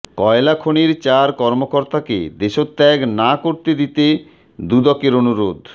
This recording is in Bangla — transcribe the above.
কয়লা খনির চার কর্মকর্তাকে দেশত্যাগ না করতে দিতে দুদকের অনুরোধ